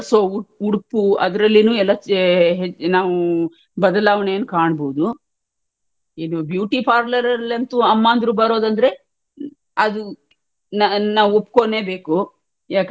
ಧರ್ಸೊ ಉಡುಪು ಅದ್ರಲ್ಲೇನು ಎಲ್ಲಾ ನಾವು ಬದಲಾವಣೆಯನ್ನು ಕಾಣಬಹುದು ಇದುbeauty parlour ಅಲ್ಲಿ ಅಂತೂ ಅಮ್ಮಂದ್ರು ಬರೋದಂದ್ರೆ ಅದು ನಾ~ ನಾವು ಒಪ್ಕೋನ್ನೆಬೇಕು ಯಾಕಂದ್ರೆ,